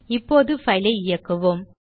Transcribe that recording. இப்போது பைல் ஐ இயக்குவோம்